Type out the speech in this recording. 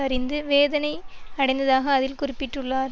அறிந்து வேதனை அடைந்ததாக அதில் குறிப்பிட்டுள்ளார்